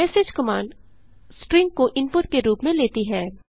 message command string को input के रूप में लेती है